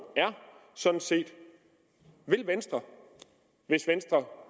er sådan set vil venstre hvis venstre